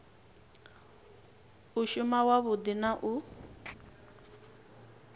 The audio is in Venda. u shuma wavhudi na u